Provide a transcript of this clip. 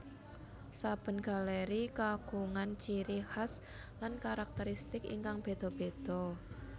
Saben galéri kagungan ciri khas lan karakteristik ingkang béda béda